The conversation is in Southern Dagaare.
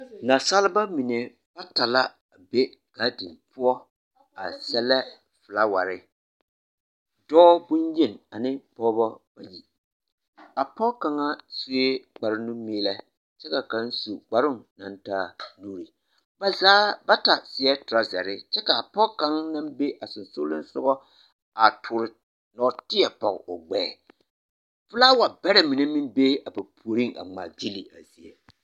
Nasaalba mine bata la be gaadin poɔ a sɛlɛ felaaware, dɔɔ bonyeni ane pɔgebɔ, a pɔge kaŋa sue kpare nu-meelɛ kyɛ ka kaŋ su kparoŋ naŋ taa nuuri, ba zaa bata seɛ torɔzare kyɛ k'a pɔge kaŋa naŋ be a sonsoolisogɔ a toore nɔɔteɛ pɔge o gbɛɛ, felaaware bɛrɛ mine meŋ bee a ba puoriŋ a ŋmaa gyili.